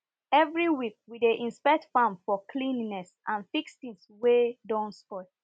every week we dey inspect farm for cleanliness and fix things wey do spoil